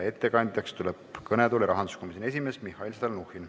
Ettekandjaks tuleb kõnetooli rahanduskomisjoni esimees Mihhail Stalnuhhin.